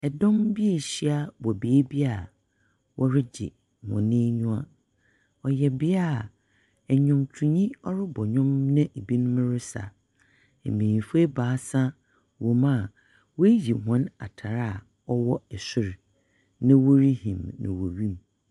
Dɔm bi rehyia wɔ beebi a wɔregye wɔn enyiwa. Ɔyɛ bea a nnwomtoni rebɔ nnwom na ebinom resa. Mbenyimfo ebaasa wɔ mu awoeyi hɔn atar aɔwɔ sor, na wɔrehim no wɔ wim.